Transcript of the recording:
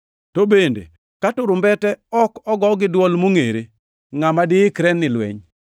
To bende, ka turumbete ok ogo gi dwol mongʼere, ngʼama diikre ni lweny?